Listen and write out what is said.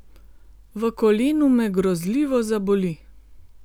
V kolenu me grozljivo zaboli.